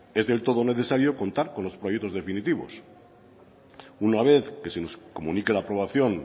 es del todo necesario contar con los proyectos definitivos una vez que se nos comunique la aprobación